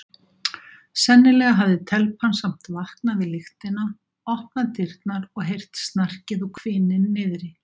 Sennilega hafði telpan samt vaknað við lyktina, opnað dyrnar og heyrt snarkið og hvininn niðri.